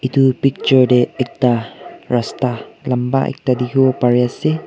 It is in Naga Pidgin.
etu picture te ekta rasta lamba ekta dekhi bo Pari ase.